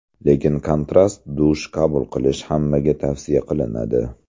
Lekin kontrast dush qabul qilish hammaga tavsiya qilinadi.